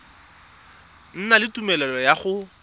na le tumelelo ya go